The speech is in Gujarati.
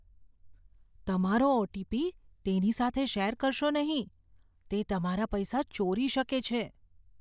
તમારો ઓ. ટી. પી. તેની સાથે શેર કરશો નહીં. તે તમારા પૈસા ચોરી શકે છે.